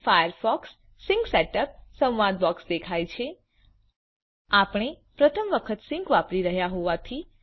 Firefox sync set up સંવાદ box દેખાય છે આપણે પ્રથમ વખત સિંક વાપરી રહ્યા હોવાથી